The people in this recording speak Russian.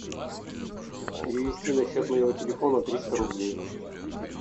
перевести на счет моего телефона триста рублей